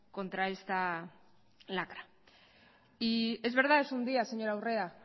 contra esta lacra y es verdad es un día señora urrea